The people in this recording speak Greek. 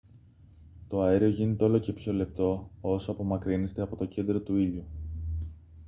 το αέριο γίνεται όλο και πιο λεπτό όσο απομακρύνεστε από το κέντρο του ήλιου